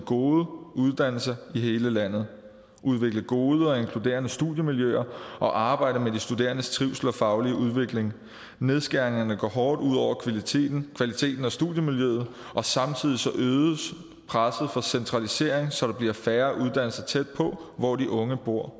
gode uddannelser i hele landet udvikle gode og inkluderende studiemiljøer og arbejde med de studerendes trivsel og faglige udvikling nedskæringerne går hårdt ud over kvaliteten kvaliteten og studiemiljøet samtidig øges presset for centralisering så der bliver færre uddannelser tæt på hvor de unge bor